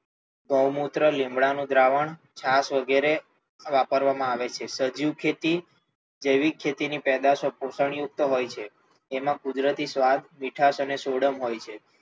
ગોોં મૂત્ર, લીમડાનું દ્રાવણ વગેરે વાપરવામાં આવે છે. સજીવ ખેતી, જૈવિક ખેતી ની પેદાશો પોષણ યુક્ત હોય છે. તેમ કુદરતી સ્વાદ, મીઠાસ અને સોડમ હોય છે.